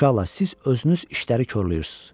Uşaqlar, siz özünüz işləri korlayırsınız.